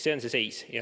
Selline on seis.